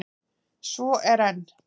Svo er enn!